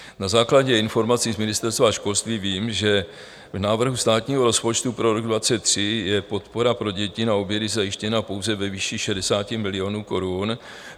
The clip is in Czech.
Na základě informací z Ministerstva školství vím, že v návrhu státního rozpočtu pro rok 2023 je podpora pro děti na obědy zajištěna pouze ve výši 60 milionů korun.